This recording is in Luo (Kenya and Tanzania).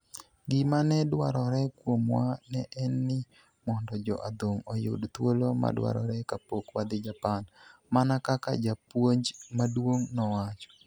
"Gima ne dwarore kuomwa ne en ni mondo jo adhong' oyud thuolo madwarore kapok wadhi Japan, " mana kaka japuonj maduong' nowacho.